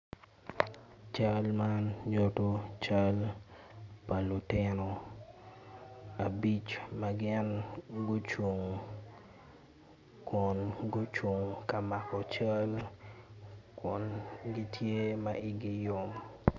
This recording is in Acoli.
Cal man nyuto cal pa lutino abic ma gin gucung kun gucung ka mako cal kun gitye ma igi yom